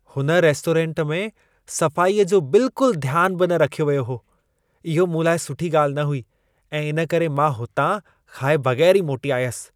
हुन रेस्टोरेंट में सफ़ाई जो ध्यानु बिल्कुल बि न रखियो वियो हो. इहो मूं लाइ सुठी ॻाल्हि न हुई ऐं इन करे मां हुतां खाए बगै़रु ई मोटी आयसि.